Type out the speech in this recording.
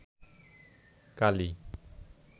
কালি